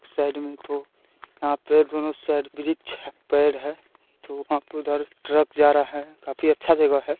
इस साईड में तो यहाँ पे दोनों साईंड बृक्ष है पेड़ है तो वहाँ पे उधर ट्रक जा रहा है काफ़ी अच्छा जगह है।